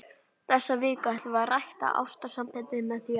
Þessa viku ætlum við að rækta ástarsambandið með því að.